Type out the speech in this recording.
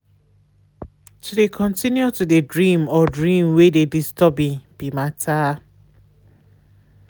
to de continue to de dream or dream wey de disturbing be matter.